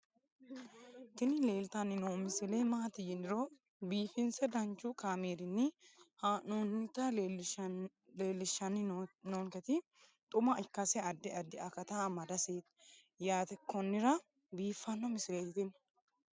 tini leeltanni noo misile maaati yiniro biifinse danchu kaamerinni haa'noonnita leellishshanni nonketi xuma ikkase addi addi akata amadaseeti yaate konnira biiffanno misileeti tini